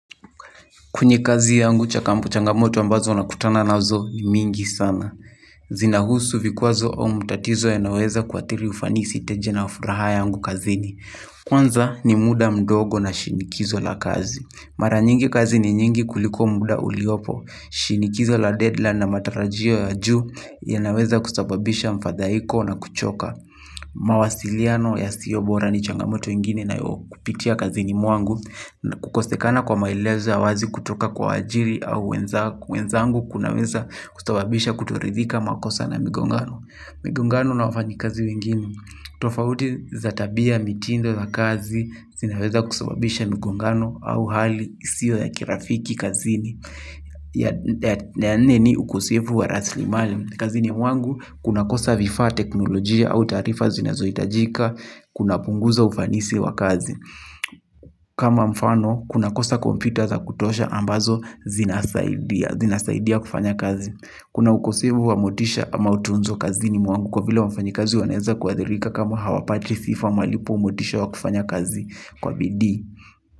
Kwenye kazi yangu chakampu changamoto ambazo na kutana nazo ni mingi sana. Zina husu vikwazo au mutatizo yanayoeza kuathiri ufanisi teje na furaha yangu kazini. Kwanza ni muda mdogo na shinikizo la kazi. Mara nyingi kazi ni nyingi kuliko muda uliopo. Shinikizo la deadline na matarajio ya juu ya naweza kusababisha mfadhaiko na kuchoka. Mawasiliano ya sio bora ni changamoto ingine nayo kupitia kazini mwangu. Kukosekana kwa maelezo ya wazi kutoka kwa waajiri au wenzangu kunaweza kusababisha kutoridhika makosa na migongano. Migongano na wafanyikazi wengine. Tofauti za tabia mitindo za kazi zinaweza kusababisha migongano au hali isiyo ya kirafiki kazini. Ya nene ni ukosevu wa raslimali. Kazini mwangu kuna kosa vifa teknolojia au taarifa zina zohitajika kunapunguza ufanisi wa kazi. Kama mfano kuna kosa kompyuta za kutosha ambazo zinasaidia kufanya kazi. Kuna ukosefu wa motisha ama utunzo kazini mwangu kwa vile wafanyikazi wanaeza kuathirika kama hawapati sifa malipo motisha wa kufanya kazi kwa bidii.